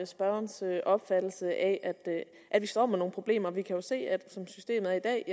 spørgerens opfattelse af at vi står med nogle problemer vi kan jo se at som systemet er